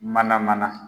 Mana mana